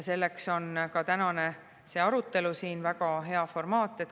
Selleks on ka tänane arutelu siin väga hea formaat.